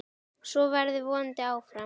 Svo verður vonandi áfram.